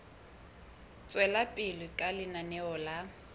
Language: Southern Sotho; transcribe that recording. tswela pele ka lenaneo la